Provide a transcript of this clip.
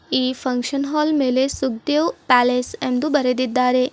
ಈ function hall ಮೇಲೆ Sukhdev palace ಎಂದು ಬರೆದಿದ್ದಾರೆ.